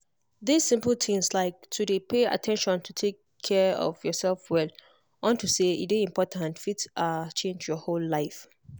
this simple tins like to dey pay at ten tion to take care of yourself well unto say e dey important fit ah change your whole life